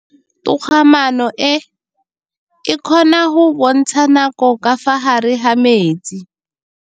Toga-maanô e, e kgona go bontsha nakô ka fa gare ga metsi.